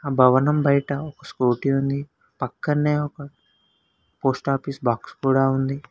భవనం బయట ఒక స్కూటీ ఉంది పక్కనే ఒక పోస్ట్ ఆఫీస్ బాక్స్ కూడా ఉంది.